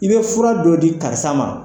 I be fura dɔ di karisa ma